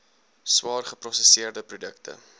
swaar geprosesseerde produkte